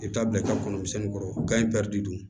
I bɛ taa bila i ka kɔnɔ misɛnnin kɔrɔ in bɛ dun